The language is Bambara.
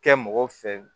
Kɛ mɔgɔw fɛ